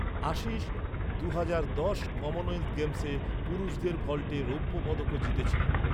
আশিস দুহাজার দশ সালের কমনওয়েলথ গেমসে পুরুষদের ভল্টে রৌপ্য পদকও জিতেছিল।